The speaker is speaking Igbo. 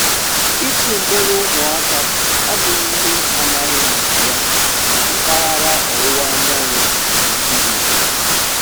Ịtụ mgbere ụmụaka abụghị ihe amaghị maka ya na mpaghara Ọwụwa Anyanwụ Naịjirịa